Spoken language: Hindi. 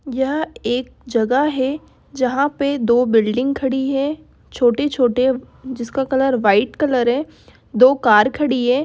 यह एक जगह है जहां पे दो बिल्डिंग खड़ी है छोटे- छोटे जिसका कलर व्हाइट कलर है। दो कार खड़ी है।